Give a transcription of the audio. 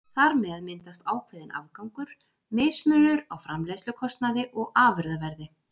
Þar með myndast ákveðinn afgangur, mismunur á framleiðslukostnaði og afurðaverði.